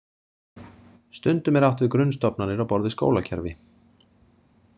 Stundum er átt við grunnstofnanir á borð við skólakerfi.